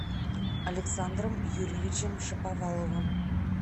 александром юрьевичем шаповаловым